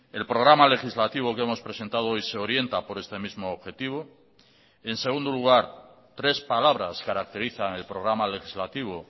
el programa legislativo que hemos presentado hoy se orienta por este mismo objetivo en segundo lugar tres palabras caracterizan el programa legislativo